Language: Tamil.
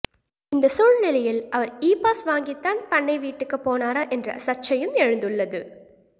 இந்த சூழ்நிலையில் அவர் இ பாஸ் வாங்கித்தான் பண்ணை வீட்டுக்குப் போனாரா என்ற சர்ச்சையும் எழுந்துள்ளது